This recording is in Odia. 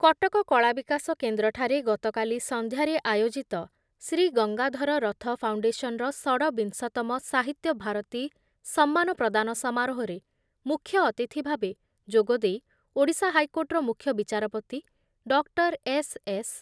କଟକ କଳାବିକାଶ କେନ୍ଦ୍ରଠାରେ ଗତକାଲି ସନ୍ଧ୍ୟାରେ ଆୟୋଜିତ ଶ୍ରୀ ଗଙ୍ଗାଧର ରଥ ଫାଉଣ୍ଡେସନ୍‌ର ଷଡ଼ବିଂଶତମ ସାହିତ୍ୟ ଭାରତୀ ସମ୍ମାନ ପ୍ରଦାନ ସମାରୋହରେ ମୁଖ୍ୟ ଅତିଥି ଭାବେ ଯୋଗଦେଇ ଓଡ଼ିଶା ହାଇକୋର୍ଟର ମୁଖ୍ୟ ବିଚାରପତି ଡକ୍ଟର ଏସ୍ ଏସ୍